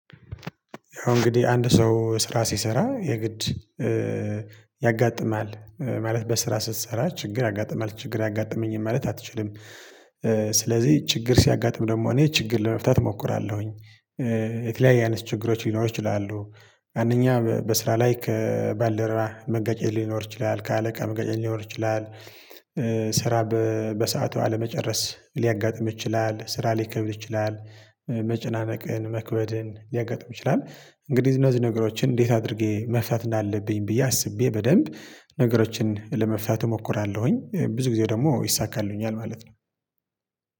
ያው እንግዲህ አንድ ሰው ስራ ሲሰራ የግድ ያጋጥማል ማለት በስራ ስትሰራ ችግር ያጋጥማል ችግር አያጋጥመኝም ማለት አትችልም። ስለዚህ ችግር ሲያጋጥም ደግሞ እኔ ችግር ለመፍታት እሞክራለሁኝ። የተለያየ አይነት ችግሮች ሊኖሩ ይችላሉ። አንደኛ በስራ ላይ ከባልደረባ መጋጨት ሊኖር ይችላል ከአለቃ መጋጨት ሊኖር ይችላል። ስራ በሰአቱ አለመጨረስ ሊያጋጥም ይችላል። ስራ ሊከብድ ይችላል። መጨናነቅን መክበድን ሊያጋጥም ይችላል። እንግዲህ እነዚህ ነገሮችን እንዴት አድርጌ መፍታት እንዳለብኝ ብዬ አስቤ በደንብ ነገሮችን ለመፍታት እሞክራለሁኝ። ብዙ ጊዜ ደግሞ ይሳካልኛል ማለት ነው።